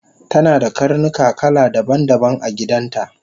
tanada karnuka kala daban daban agidanta